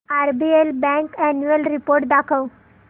RBL bank annual report दाखव